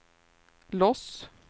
Los